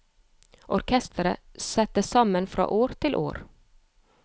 Orkestret settes sammen fra år til år.